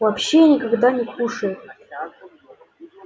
вообще никогда не кушает